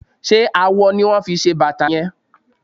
Ṣé awọ ni wón fi ṣe bàtà yẹn?